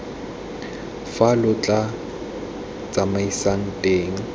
fa lo tla tsamaisanang teng